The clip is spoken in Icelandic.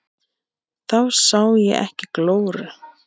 Þá sá ég ekki glóru.